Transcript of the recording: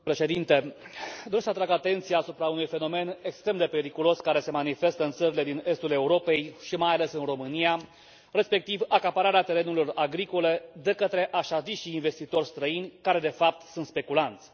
Domnule președinte, doresc să atrag atenția asupra unui fenomen extrem de periculos care se manifestă în țările din estul Europei și, mai ales, în România, respectiv acapararea terenurilor agricole de către așa zișii investitori străini, care, de fapt, sunt speculanți.